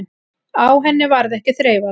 Á henni varð ekki þreifað.